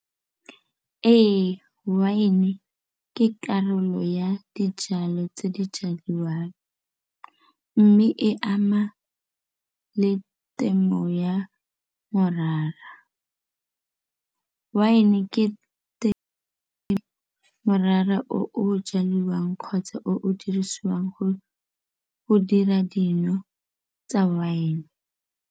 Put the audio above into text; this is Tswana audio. Ee, wine-e ke karolo ya dijalo tse di jadiwang mme e ama le temo ya morara. Wine-e ke morara o o jaliwang kgotsa o dirisiwang go go dira dino tsa wine.